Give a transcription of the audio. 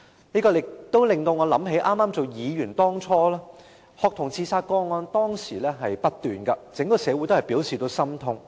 這令我記起我初任議員時，學童自殺個案不斷，整個社會都表示心痛。